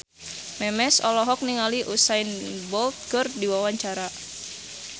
Memes olohok ningali Usain Bolt keur diwawancara